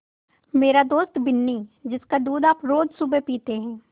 मेरी दोस्त बिन्नी जिसका दूध आप रोज़ सुबह पीते हैं